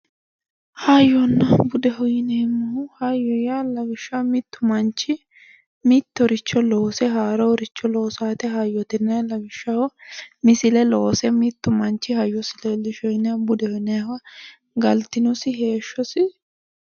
Hayyonna budeho yineemmohu, hayyo lawishshaho mitu manchi mittoricho loose haaroricho loosano woyte hayyote yinnanni lawishshaho misile loose mitu manchi hayyosi leelishino yinnanni ,budeho yinnannihu galtinosi heeshshosi